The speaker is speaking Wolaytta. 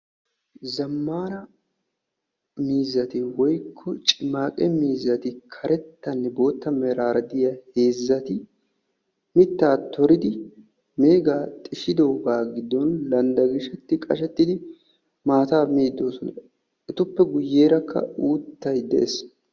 zammana miizatti karettane bootta merrara de'iyagetti mitta xishidoganni qashetidi maatta miidi de"oosona.